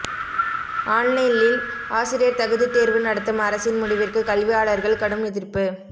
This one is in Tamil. ஆன்லைனில் ஆசிரியர் தகுதித்தேர்வு நடத்தும் அரசின் முடிவிற்கு கல்வியாளர்கள் கடும் எதிர்ப்பு